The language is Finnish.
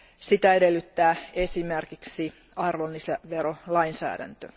Sitä edellyttää esimerkiksi arvonlisäverolainsäädäntö.